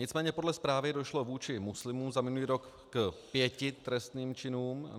Nicméně podle zprávy došlo vůči muslimům za minulý rok k 5 trestným činům.